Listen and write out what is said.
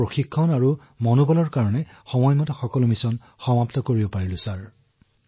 আমাৰ প্ৰশিক্ষণ আৰু উৎসাহৰ ফলতেই আমি সময়মতে এই অভিযান সম্পন্ন কৰিব পাৰিছো ছাৰ